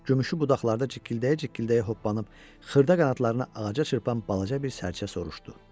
Gümüşü budaqlarda cikkildəyə-cikkildəyə hoppanıb xırda qanadlarını ağaca çırpan balaca bir sərçə soruşdu.